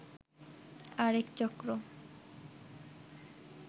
আরেক চক্র